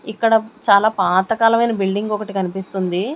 ఇక్కడ చాలా పాతకాలమైన బిల్డింగ్ ఒకటి కనిపిస్తుంది.